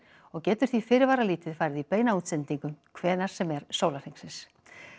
og getur því fyrirvaralítið farið í beina útsendingu hvenær sem er sólarhringsins